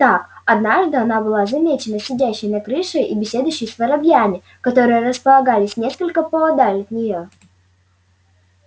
так однажды она была замечена сидящей на крыше и беседующей с воробьями которые располагались несколько поодаль от нее